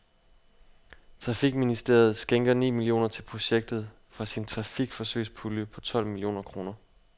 Trafikministeriet skænker ni millioner til projektet fra sin trafikforsøgspulje på tolv millioner kroner.